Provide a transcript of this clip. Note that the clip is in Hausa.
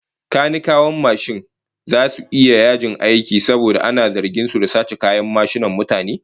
Kanikawan mashin zasu yi yajin aiki saboda ana zargin su da sace kayan mashinan mutane